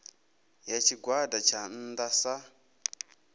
ya tshigwada tsha nnda sa